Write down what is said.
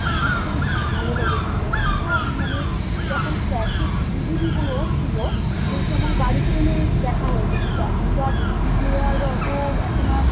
মানে খুব ই ভালো লেগে ছিল, আমি তো মানে, যখন cassette DVD গুলো ছিল সেই সময় বাড়িতে এনে দেখা হয়েছে কিন্তু এখন তো আর DVD player অত এখন আর